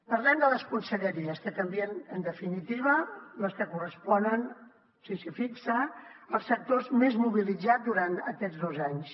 parlem de les conselleries que canvien en definitiva les que corresponen si s’hi fixa als sectors més mobilitzats durant aquests dos anys